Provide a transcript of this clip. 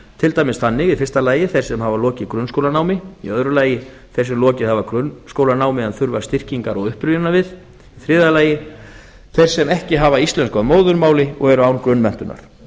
til dæmis þannig í fyrsta lagi að þeir sem hafa lokið grunnskólanámi í öðru lagi þeir sem lokið hafa grunnskólanámi en þurfa styrkingar og upprifjunar við í þriðja lagi þeir sem ekki hafa íslensku að móðurmáli og eru án grunnmenntunar